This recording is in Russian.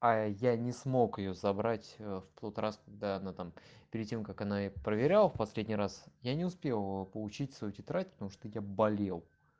а я не смог её забрать в тот раз когда она там перед тем как она проверяла в последний раз я не успел получить свою тетрадь потому что я болел